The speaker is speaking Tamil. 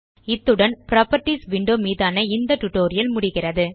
இத்துடன் புராப்பர்ட்டீஸ் விண்டோ மீதான இந்த டியூட்டோரியல் முடிகிறது